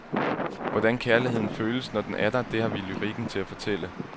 Hvordan kærligheden føles, når den er der, det har vi lyrikken til at fortælle.